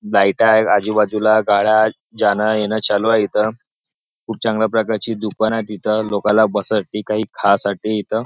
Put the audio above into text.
लाईटा आहेत आजूबाजूला गाळ्यात जाणं येणं चालू आहे इथ खूप चांगल्या प्रकारची दुकान आहे तिथ लोकाला बससाठी खासाठी आहे इथ.